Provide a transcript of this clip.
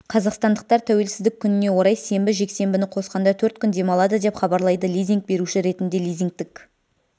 қазақстандықтар тәуелсіздік күніне орай сенбі жексенбіні қосқанда төрт күн демалады деп хабарлайды лизинг беруші ретінде лизингтік